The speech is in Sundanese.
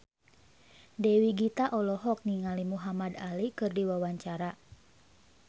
Dewi Gita olohok ningali Muhamad Ali keur diwawancara